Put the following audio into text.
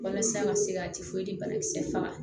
Walasa an ka se ka banakisɛ faga